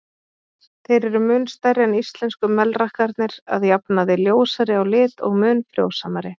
Þeir eru mun stærri en íslensku melrakkarnir, að jafnaði ljósari á lit og mun frjósamari.